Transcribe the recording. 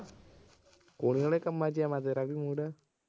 ਕੁੜੀ ਵਾਲੇ ਕੰਮਾਂ ਚ ਆ ਮੈਂ ਤੇਰਾ ਵੀ mood